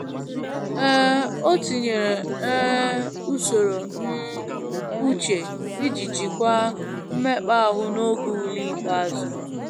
um O tinyere um usoro um uche iji jikwaa mmekp'ahu n'oge ule ikpeazụ ya.